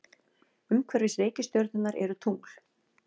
Umhverfis reikistjörnurnar eru tungl.